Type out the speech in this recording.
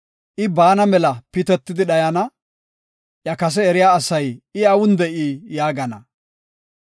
I baana mela pitetidi dhayana; Iya kase eriya asay ‘I awun de7ii?’ yaagana.